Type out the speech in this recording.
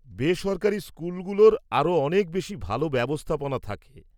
-বেসরকারি স্কুলগুলোর আরও অনেক বেশি ভালো ব্যবস্থাপনা থাকে।